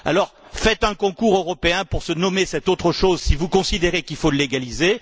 Organisez un concours européen pour nommer cette autre chose si vous considérez qu'il faut la légaliser.